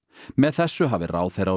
með þessu hafi ráðherra og